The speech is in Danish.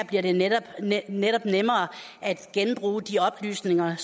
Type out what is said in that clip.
bliver det netop netop nemmere at genbruge de oplysninger